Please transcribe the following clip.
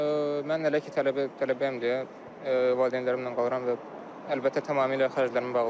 Mən hələ ki tələbəyəm deyə valideynlərimlə qalıram və əlbəttə tamamilə xərclərimi bağlayır.